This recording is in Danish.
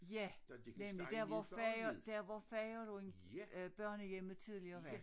Ja nemlig der hvor færgen der hvor færgen lå øh børnehjemmet tidligere var